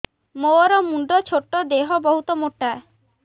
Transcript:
ମୋର ମୁଣ୍ଡ ଛୋଟ ଦେହ ବହୁତ ମୋଟା